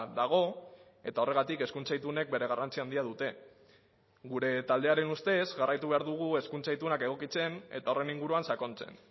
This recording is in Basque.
dago eta horregatik hezkuntza itunek bere garrantzia handia dute gure taldearen ustez jarraitu behar dugu hezkuntza itunak egokitzen eta horren inguruan sakontzen